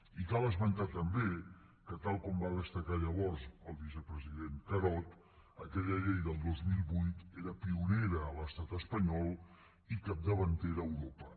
i cal esmentar també que tal com va destacar llavors el vicepresident carod aquella llei del dos mil vuit era pionera a l’estat espanyol i capdavantera a europa